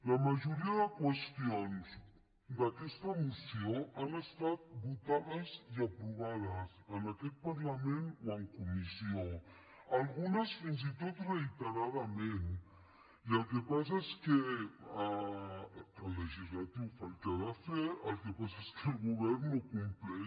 la majoria de qüestions d’aquesta moció han estat votades i aprovades en aquest parlament o en comissió algunes fins i tot reiteradament i el que passa és que el legislatiu fa el que ha de fer el que passa és que el govern no compleix